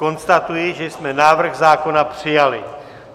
Konstatuji, že jsme návrh zákona přijali.